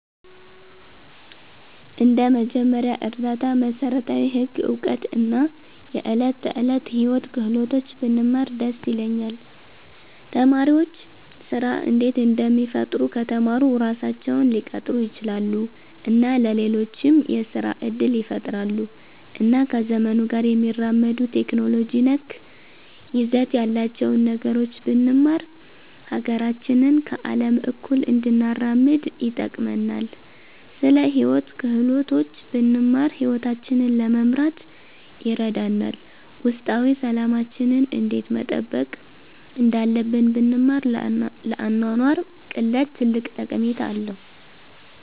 እንደ መጀመሪያ እርዳታ፣ መሠረታዊ ህግ እውቀት እና የዕለት ተዕለት ሕይወት ክህሎቶች ብንማር ደስ ይለኛል። ተማሪዎች ስራ እንዴት እንደሚፈጥሩ ከተማሩ ራሳቸውን ሊቀጥሩ ይችላሉ እና ለሌሎችም የስራ እድል ይፈጥራሉ። እና ከዘመኑ ጋር የሚያራምዱ ቴክኖሎጂ ነክ ይዘት ያላቸውን ነገሮች ብንማር ሀገራችንን ከአለም እኩል እንድናራምድ ይጠቅመናል። ስለ ሂወት ክህሎቶች ብንማር ሂወታችንን ለመምራት ይረዳናል። ውስጣዊ ሠላማችንን እንዴት መጠበቅ እንዳለብን ብንማር ለአኗኗር ቅለት ትልቅ ጠቀሜታ አለዉ።